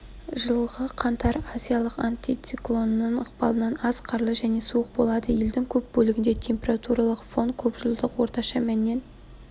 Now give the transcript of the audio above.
жылғы қаңтар азиялық антициклонының ықпалынан аз қарлы және суық болады елдің көп бөлігінде температуралық фон көпжылдық орташа мәннен